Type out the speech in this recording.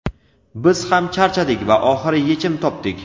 Biz ham charchadik va oxiri yechim topdik!.